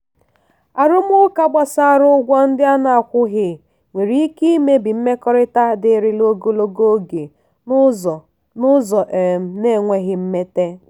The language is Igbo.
arụmụka gbasara ụgwọ ndị a na-akwụghị nwere ike imebi mmekọrịta dịrịla ogologo oge n'ụzọ n'ụzọ um na-enweghị mmete.